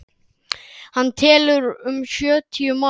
Hann telur um sjötíu manns.